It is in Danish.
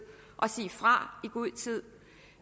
og sige fra i god tid